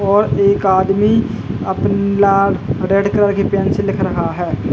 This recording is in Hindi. और एक आदमी अपन लाल रेड कलर की पेन से लिख रहा है।